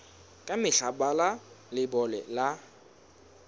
ka mehla bala leibole ya